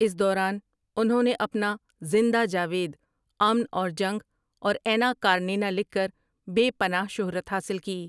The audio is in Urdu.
اس دوران انہوں نے اپنا زندہ جاوید امن اور جنگ اور اینا کارینینا لکھ کر بے پناہ شہرت حاصل کی ۔